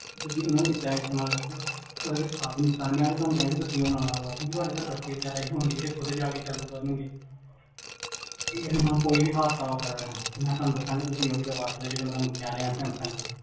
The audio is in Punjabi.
ਤੁਸੀਂ ਏਨੁ ਏਦਾਂ ਇਸਤੇਮਾਲ ਕਰ ਸਕਦੇ ਹੋ, ਓਦੇ ਵਿੱਚ ਕਾਫੀ ਨੁਕਸਾਨ ਹੈ ਮੈਂ ਤੇ ਤੁਹਾਨੂੰ ਕਹੂੰਗਾ ਤੁਸੀਂ ਨਾ ਲਗਵਾਓ ਤੁਹਾਡੇ ਘਰ ਬਚੇ ਵੀ ਹੋਣਗੇ, ਜਿਹੜੇ ਖੁਦ ਜਾ ਕੇ ਚਾਲੂ ਕਰਨ ਗਏ ਇਸ ਨਾਲ ਕੋਈ ਵੀ ਹਾਦਸਾ ਹੋ ਸਕਦਾ ਹੈ, ਮੈਂ ਤੁਹਾਨੂੰ ਦੱਸਾਂਗਾ ਤੁਸੀਂ ਓਹੀ ਲਗਵਾ ਲੋ ਸਕਦੇ ਹੋ ਜਿਹੜੇ ਮਈ ਤੁਹਾਨੂੰ ਕਹਿ ਰਿਹਾ ਸੈਮਸੰਗ ਦੀ